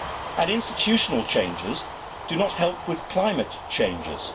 And institutional changes do not help with climate changes.